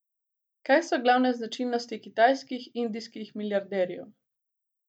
Kaj so glavne značilnosti kitajskih, indijskih milijarderjev?